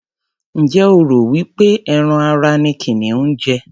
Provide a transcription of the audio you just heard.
Ǹjẹ́ o rò wí pé ẹran ara ni kìnìún ń jẹ?